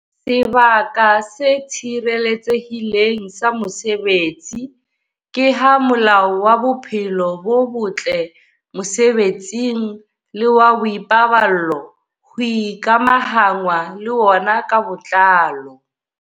Sebaka se tshireletsehileng sa mosebetsi ke ha Molao wa Bophelo bo Botle Mosebetsing le wa Boipaballo ho ikamahanngwa le wona ka botlalo.